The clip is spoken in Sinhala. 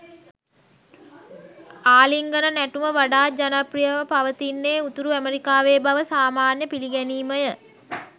ආලිංගන නැටුම වඩාත් ජනප්‍රියව පවතින්නේ උතුරු ඇමෙරිකාවේ බව සාමාන්‍ය පිළිගැනීමය.